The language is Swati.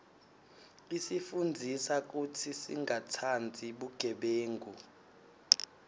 isifundzisa kutsi singatsandzi bugebengu